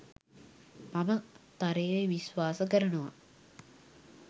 මම තරයේ විශ්වාස කරනවා.